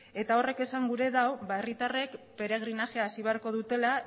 eta horrek esan gure du ba herritarrek peregrinajea hasi beharko dutela